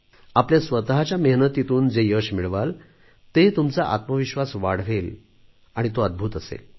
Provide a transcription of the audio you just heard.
आपल्या स्वतच्या मेहनतीतून जे यश मिळवाल ते तुमचा आत्मविश्वास वाढवेल तो अद्भुत असेल